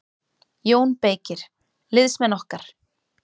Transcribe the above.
JÓN BEYKIR: Liðsmenn okkar.